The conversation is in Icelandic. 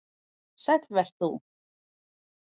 Sæll vert þú.